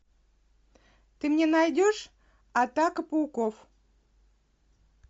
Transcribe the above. ты мне найдешь атака пауков